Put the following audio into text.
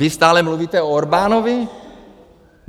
Vy stále mluvíte o Orbánovi.